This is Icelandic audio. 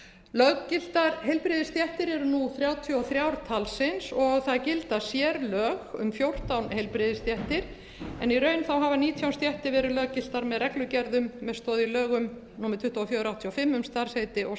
löggiltar heilbrigðisstéttir eru nú þrjátíu og þrjú talsins og það gilda sérlög um fjórtán heilbrigðisstéttir en í raun hafa nítján stéttir verið löggiltar með reglugerðum með stoð í lögum númer tuttugu og fjögur nítján hundruð áttatíu og fimm um starfsheiti og